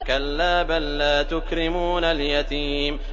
كَلَّا ۖ بَل لَّا تُكْرِمُونَ الْيَتِيمَ